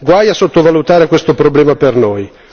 Guai a sottovalutare questo problema per noi.